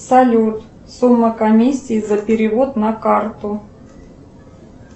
салют сумма комиссии за перевод на карту